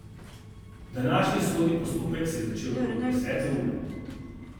Današnji sodni postopek se je začel okrog desete ure.